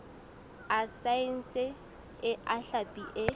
a saense a hlapi e